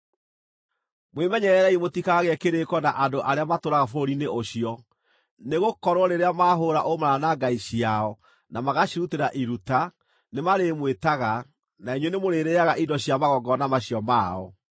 “Mwĩmenyererei mũtikagĩe kĩrĩĩko na andũ arĩa matũũraga bũrũri-inĩ ũcio; nĩgũkorwo rĩrĩa maahũũra ũmaraya na ngai ciao na magacirutĩra iruta, nĩmarĩmwĩtaga, na inyuĩ nĩmũrĩrĩĩaga indo cia magongona macio mao.